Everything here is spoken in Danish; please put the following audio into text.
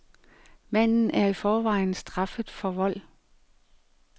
Manden er i forvejen straffet for vold.